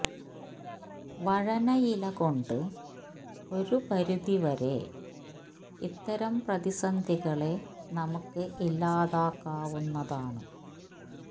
വഴനയില കൊണ്ട് ഒരു പരിതി വരെ ഇത്തരം പ്രതിസന്ധികളെ നമുക്ക് ഇല്ലാതാക്കാവുന്നതാണ്